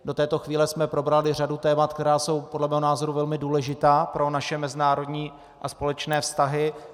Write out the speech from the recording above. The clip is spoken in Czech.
Do této chvíle jsme probrali řadu témat, která jsou podle mého názoru velmi důležitá pro naše mezinárodní a společné vztahy.